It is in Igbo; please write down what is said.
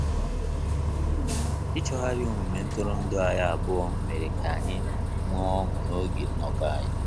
Ichọghari omume ntụrụndu anyị abụọ mere ka anyị nwe ọṅu na-oge nnoko anyị